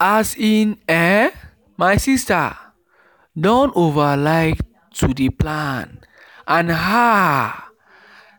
as in ehnn my sister don over like to dey plan and and haaa